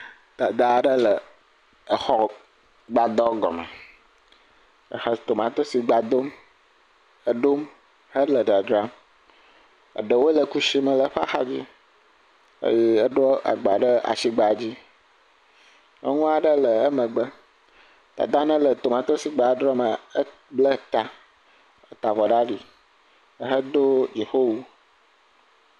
Dada aɖe le exɔgbadɔ gɔme ehe tomatosigba dom. Eɖom hele dzadzram. Eɖewo le kusi me le eƒe axadzi eye eɖo agba ɖe asigba dzi. Nyɔnu aɖe le emegbe. Dada yi ne tomatosigba doma eble ta heta avɔ ɖe ali hedo dziƒo wu.